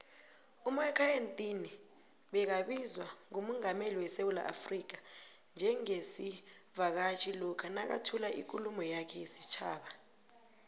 umakhaya ntini begabizwa ngumungameli wesewula africa njengesivakatjhi lokha nakathula ikhuluma yakhe yesitjhaba